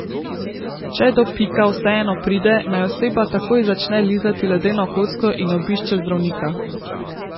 Če do pika vseeno pride, naj oseba takoj začne lizati ledeno kocko in obišče zdravnika.